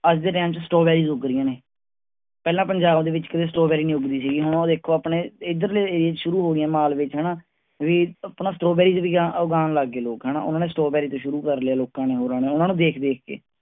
ਅੱਜ ਦੇ ਟਾਈਮ ਚ ਸਟ੍ਰਾਬੇਰੀ ਉਗ ਰਹੀਆਂ ਨੇ ਪਹਿਲਾਂ ਪੰਜਾਬ ਦੇ ਵਿਚ ਕਿਤੇ ਸਟ੍ਰਾਬੇਰੀ ਨਹੀਂ ਉਗਦੀ ਸੀ ਹੁਣ ਉਹ ਦੇਖੋ ਆਪਣੇ ਇਧਰਲੇ ਏਰੀਏ ਚ ਸ਼ੁਰੂ ਹੋ ਗਈਆਂ ਮਾਲਵੇ ਚ ਹਣਾ ਵੀ ਅਪਣਾ ਸਟ੍ਰਾਬੇਰੀ ਵੀ ਉਗਾਨ ਲੱਗ ਗਏ ਲੋਕ ਹਣਾ ਉਨ੍ਹਾਂਨੇ ਸਟ੍ਰਾਬੇਰੀ ਤੋਂ ਸ਼ੁਰੂ ਕਰ ਲਿਆ ਲੋਕਾਂ ਨੇ. ਉਨ੍ਹਾਂਨੂੰ ਦੇਖ-ਦੇਖ ਕੇ